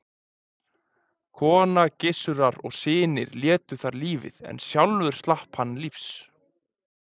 Kona Gissurar og synir létu þar lífið en sjálfur slapp hann lífs.